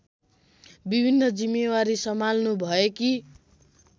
विभिन्न जिम्मेवारी सम्हाल्नुभएकी